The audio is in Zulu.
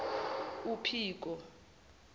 uphiko